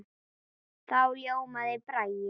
Þá ljómaði Bragi.